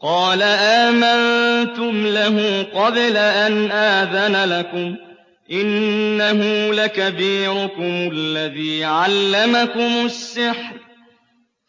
قَالَ آمَنتُمْ لَهُ قَبْلَ أَنْ آذَنَ لَكُمْ ۖ إِنَّهُ لَكَبِيرُكُمُ الَّذِي عَلَّمَكُمُ السِّحْرَ